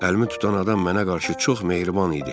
Əlimi tutan adam mənə qarşı çox mehriban idi.